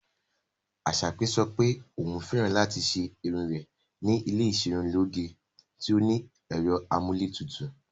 Asake sọ pé òun fẹ́ràn láti ṣe irun rẹ̀ ní ilé iserunloge tí ó ní ẹ̀rọ amúlétutù.